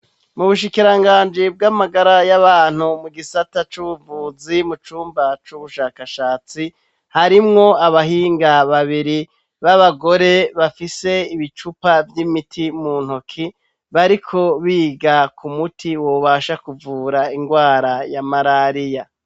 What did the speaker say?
Mu bushikiranganji bw'amagara y'abantu mu gisata c'ubuvuzi mu cumba c'ubushakashatsi harimwo abahinga babiri b'abagore bafise ibicupa vy'imiti mu ntoki bariko biga ku muti wobasha kuvura indwara ya malariya.